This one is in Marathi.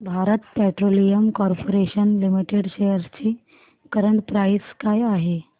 Bharat petroleum corporation limited shares ची करंट प्राइस काय आहे